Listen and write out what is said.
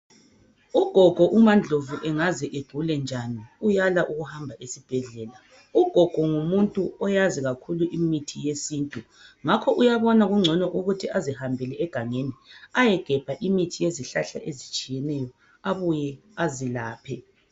Ugogo umaNdlovu engaze egulenjani uyala ukuhamba esbhedlela .Ugogo ngumuntu oyazi kakhulu imithi yesintu ngakho uyabona kungcono ukuthi azihambele egangeni ayegebha imithi yezihlahla ezitshiyeneyo, abuye azelaphe.